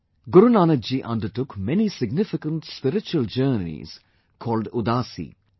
Guru Nanak Ji undertook many significant spiritual journeys called 'Udaasi'